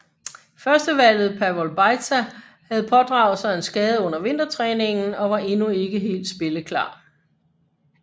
Førstevalget Pavol Bajza havde pådraget sig en skade under vintertræningen og var endnu ikke helt spilleklar